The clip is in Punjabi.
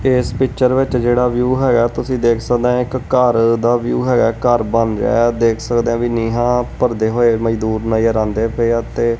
ਇਸ ਪਿਕਚਰ ਵਿੱਚ ਜਿਹੜਾ ਵਿਊ ਹੈਗਾ ਤੁਸੀ ਦੇਖ ਸਕਦੇ ਹੋ ਇੱਕ ਘੱਰ ਦਾ ਵਿਊ ਹੈਗਾ ਘੱਰ ਬਣ ਰਿਹਾ ਦੇਖ ਸਕਦੇ ਹੋ ਬਾਈ ਹਾਂ ਨੀਹਾਂ ਭਾਰਦੇ ਹੋਏ ਮਜ਼ਦੂਰ ਨਜਰ ਆਂਦੇ ਪਏ ਹਾਂ ਤੇ।